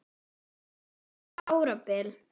Óla um árabil.